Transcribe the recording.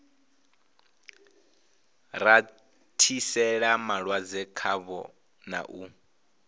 rathiseli malwadze khavho na u